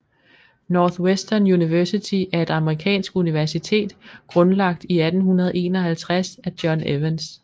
Northwestern University er et amerikansk universitet grundlagt i 1851 af John Evans